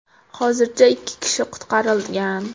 Hozircha ikki kishi qutqarilgan.